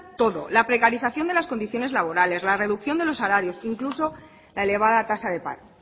todo la precarización de las condiciones laborales la reducción de los salarios e incluso la elevada tasa de paro